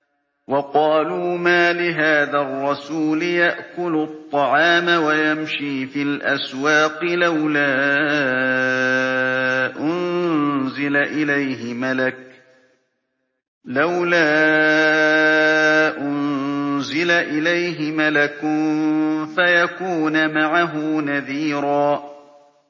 وَقَالُوا مَالِ هَٰذَا الرَّسُولِ يَأْكُلُ الطَّعَامَ وَيَمْشِي فِي الْأَسْوَاقِ ۙ لَوْلَا أُنزِلَ إِلَيْهِ مَلَكٌ فَيَكُونَ مَعَهُ نَذِيرًا